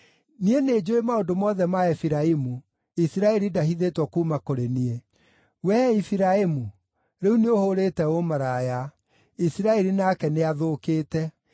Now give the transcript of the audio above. Niĩ nĩnjũũĩ maũndũ mothe ma Efiraimu; Isiraeli ndahithĩtwo kuuma kũrĩ niĩ. Wee Efiraimu, rĩu nĩũhũrĩte ũmaraya; Isiraeli nake nĩathũkĩte.